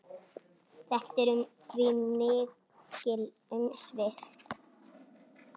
Þetta eru því mikil umsvif.